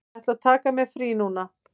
Ég ætla að taka mér frí núna.